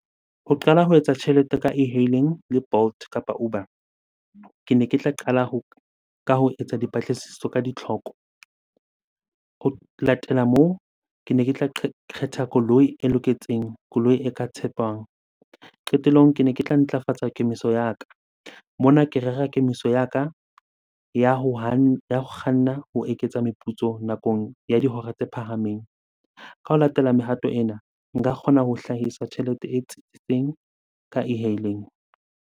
Ho qala ho etsa tjhelete ka e-hailing le Bolt kapa Uber. Kene ke tla qala ho, ka ho etsa dipatlisiso ka ditlhoko. Ho latela moo, kene ke tla kgetha koloi e loketseng, koloi e ka tshepang. Qetellong, kene ke tla ntlafatsa kemiso ya ka. Mona ke rera kemiso ya ka ya ho kganna ho eketsa meputso nakong ya dihora tse phahameng. Ka ho latela mehato ena, nka kgona ho hlahisa tjhelete e ka e-hailing.